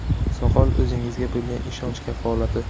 Soqol o‘zingizga bo‘lgan ishonch kafolati.